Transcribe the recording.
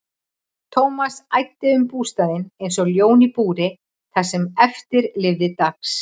Thomas æddi um bústaðinn einsog ljón í búri það sem eftir lifði dags.